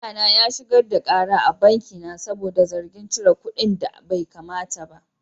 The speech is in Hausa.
Lauyana ya shigar da kara a banki na saboda zargin cire kuɗinda baikamata ba.